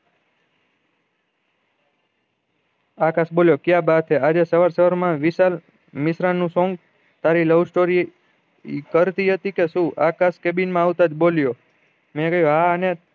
અલાશ બોલ્યો ક્યાં બાત હે આજે સવાર સવાર માં વિશાલ મિશ્રા નું song તારી love story કર થઇ હતી કે શું આકાશ cabin માં આવતા જ બોલ્યો